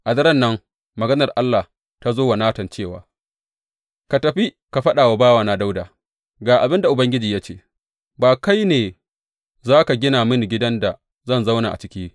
A daren nan maganar Allah ta zo wa Natan cewa, Ka tafi ka faɗa wa bawana Dawuda, Ga abin da Ubangiji ya ce ba kai ba ne za ka gida mini gidan da zan zauna a ciki.